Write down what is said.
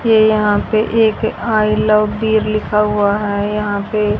ये यहां पे एक आई लव भी लिखा हुआ है यहां पे--